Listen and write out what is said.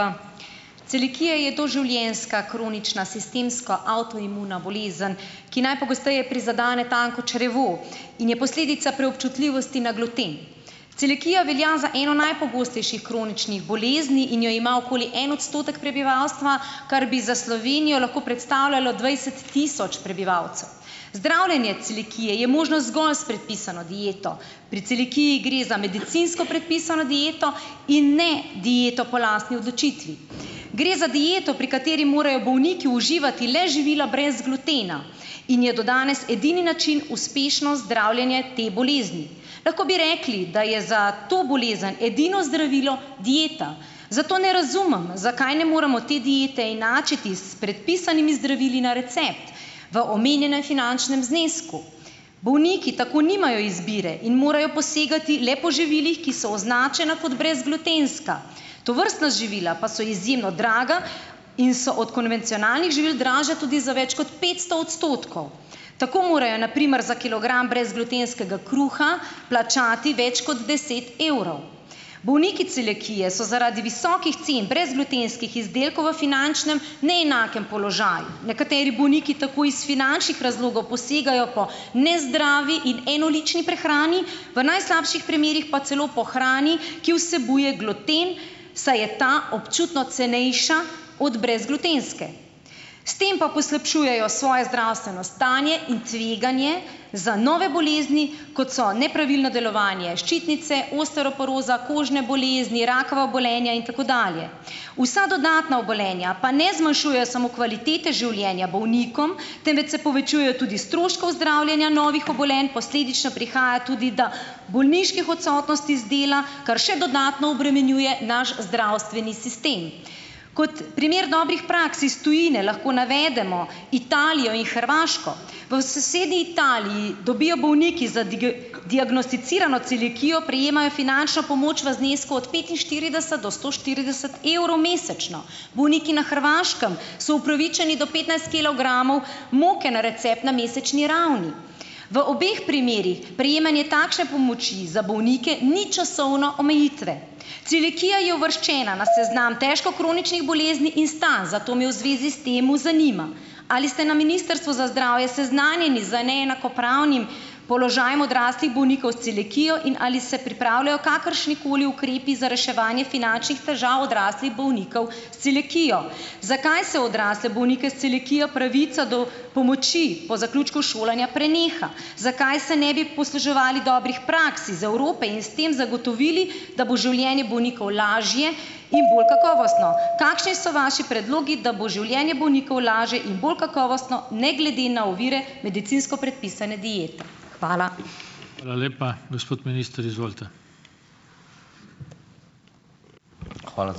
Celiakija je doživljenjska kronična sistemsko avtoimuna bolezen, ki najpogosteje prizadene tanko črevo in je posledica preobčutljivosti na gluten. Celiakija velja za eno najpogostejših kroničnih bolezni in jo ima okoli en odstotek prebivalstva, kar bi za Slovenijo lahko predstavljalo dvajset tisoč prebivalcev. Zdravljenje celiakije je možno zgolj s predpisano dieto. Pri celiakiji gre za medicinsko predpisano dieto in ne dieto po lastni odločitvi. Gre za dieto, pri kateri morajo bolniki uživati le živila brez glutena in je do danes edini način uspešno zdravljenje te bolezni. Lahko bi rekli, da je za to bolezen edino zdravilo dieta, zato ne razumem, zakaj ne moremo te diete enačiti s predpisanimi zdravili na recept v omenjenem finančnem znesku? Bolniki tako nimajo izbire in morajo posegati le po živilih, ki so označena kot brezglutenska. Tovrstna živila pa so izjemno draga in so od konvencionalnih živil dražja tudi za več kot petsto odstotkov. Tako morajo na primer za kilogram brezglutenskega kruha plačati več kot deset evrov. Bolniki celiakije so zaradi visokih cen brezglutenskih izdelkov v finančnem neenakem položaju. Nekateri bolniki tako iz finančnih razlogov posegajo po nezdravi in enolični prehrani. V najslabših primerih pa celo po hrani, ki vsebuje gluten, saj je ta občutno cenejša od brezglutenske. S tem pa poslabšujejo svoje zdravstveno stanje in tveganje za nove bolezni, kot so nepravilno delovanje ščitnice, osteoporoza, kožne bolezni, rakava obolenja in tako dalje. Vsa dodatna obolenja pa ne zmanjšujejo samo kvalitete življenja bolnikom, temveč se povečujejo tudi stroški zdravljenja novih obolenj, posledično prihaja tudi do bolniških odsotnosti z dela, ker še dodatno obremenjuje naš zdravstveni sistem. Kot primer dobrih praks iz tujine lahko navedemo Italijo in Hrvaško. V sosednji Italiji dobijo bolniki za diagnosticirano celiakijo prejemajo finančno pomoč v znesku od petinštirideset do sto štirideset evrov mesečno. Bolniki na Hrvaškem so upravičeni do petnajst kilogramov moke na recept na mesečni ravni. V obeh primerih prejemanje takšne pomoči za bolnike ni časovne omejitve. Celiakija je uvrščena na seznam težko kroničnih bolezni in stanj. Zato me v zvezi s tem zanima, ali ste na Ministrstvu za zdravje seznanjeni z neenakopravnim položajem odraslih bolnikov s celiakijo? In ali se pripravljajo kakršnikoli ukrepi za reševanje finančnih težav odraslih bolnikov s celiakijo? Zakaj se odrasle bolnike s celiakijo pravica do pomoči po zaključku šolanja preneha? Zakaj se ne bi posluževali dobrih praks iz Evrope in s tem zagotovili, da bo življenje bolnikov lažje in bolj kakovostno? Kakšni so vaši predlogi, da bo življenje bolnikov lažje in bolj kakovostno, ne glede na ovire medicinsko predpisane diete? Hvala.